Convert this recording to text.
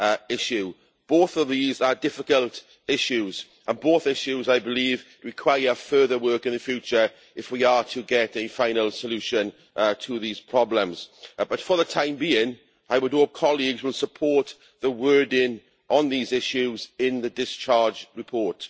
issue. Both of these are difficult issues, and both issues, I believe, require further work in the future if we are to get a final solution to these problems. But for the time being, I would hope that colleagues will support the wording on these issues in the discharge report.